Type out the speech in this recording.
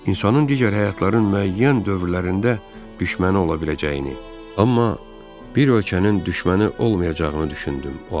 İnsanın digər həyatların müəyyən dövrlərində düşməni ola biləcəyini, amma bir ölkənin düşməni olmayacağını düşündüm o an.